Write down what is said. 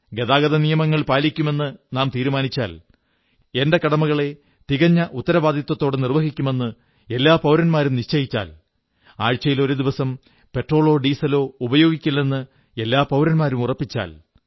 ഗതാഗത നിയമങ്ങൾ പാലിക്കുമെന്ന് നാം തീരുമാനിച്ചാൽ എന്റെ കടമകളെ തികഞ്ഞ ഉത്തരവാദിത്വത്തോടെ നിർവ്വഹിക്കുമെന്ന് എല്ലാ പൌരന്മാരും നിശ്ചയിച്ചാൽ ആഴ്ചയിൽ ഒരു ദിവസം പെട്രോളോ ഡീസലോ ഉപയോഗിക്കില്ലെന്ന് എല്ലാ പൌരന്മാരും ഉറപ്പിച്ചാൽ